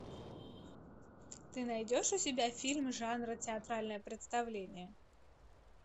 ты найдешь у себя фильм жанра театральное представление